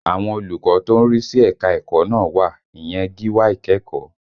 Àwọn olùkọ́ tó ń rí sí ẹ̀ka ẹ̀kọ́ náà wà, ìyẹn gíwá ìkẹ́kọ̀ọ́